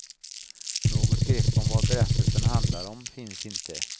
Något grepp om vad berättelsen handlar om finns inte.